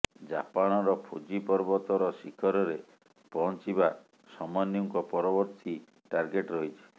ଜାପାନର ଫୁଜି ପର୍ବତର ଶିଖରରେ ପହଞ୍ଚିବା ସମନ୍ୟୁଙ୍କ ପରବର୍ତ୍ତୀ ଟାର୍ଗେଟ ରହିଛି